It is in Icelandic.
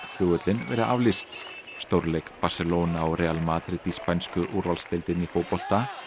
flugvöllinn verið aflýst stórleik Barcelona og Madrid í spænsku úrvalsdeildinni í fótbolta